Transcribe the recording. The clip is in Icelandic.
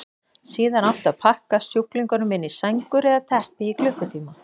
Síðan átti að pakka sjúklingunum inn í sængur eða teppi í klukkutíma.